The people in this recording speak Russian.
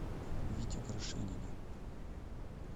вите горшенине